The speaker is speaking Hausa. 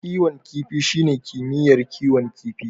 Kiwon kifi shine kimiyyar kiwon kifi.